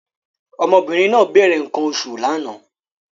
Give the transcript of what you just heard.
Ọmọbìnrin náà bẹ̀rẹ̀ nǹkan oṣù lánàá